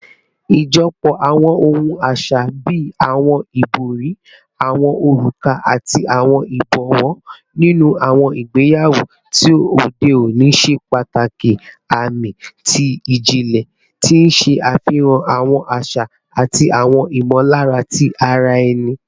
Ijọpọ awọn ohun aṣa bii awọn ibori, awọn oruka, ati awọn ibọwọ ninu awọn igbeyawo ti ode oni ṣe pataki aami ti o jinlẹ, ti n ṣe afihan awọn aṣa ati awọn imọlara ti ara ẹni